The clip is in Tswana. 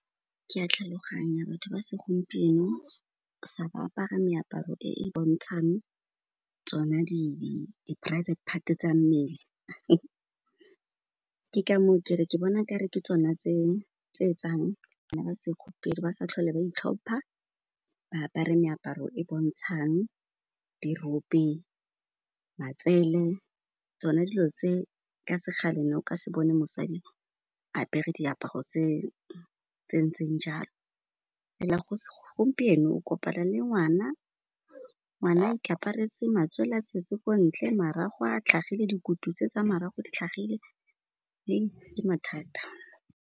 Ke a tlhaloganya batho ba segompieno ba apara meaparo e e bontshang tsona di private part tsa mmele ke ka moo ke re ke bona e kare ke tsona tse etsang bana ba segompieno ba sa tlhole ba itlhompha, ba apare meaparo e bontshang dirope, matsele, tsone dilo tse ka sekgale, ne o ka se bone mosadi a apere diaparo tse ntseng jalo. Fela gompieno o kopana le ngwana, ngwana a ikaparetse matswele a tswetse ko ntle, marago a tlhagile, dikutu tse tsa marago di tlhagile , ke mathata.